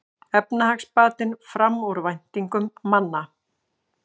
Efnahagsbatinn fram úr væntingum manna